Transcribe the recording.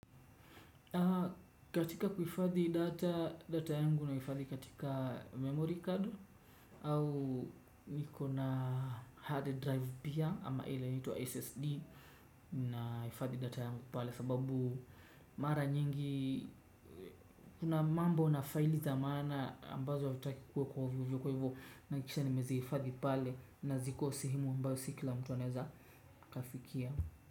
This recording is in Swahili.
Katika kuifadhi data yangu na kufadhi katika memory card au niko na hard drive pia ama ile nitua SSD. Naifadhi data yangu pale sababu mara nyingi kuna mambo na file zamaana ambazo wa sitaki kuwe kwa hivyo. Kwa hivyo nakisha ni mezi kufadhi pale na ziko sihimu mbao sikila mtuaneza kafikia.